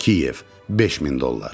Kiyev, 5000 dollar.